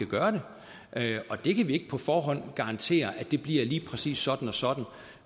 gøre det og vi kan ikke på forhånd garantere at det bliver lige præcis sådan og sådan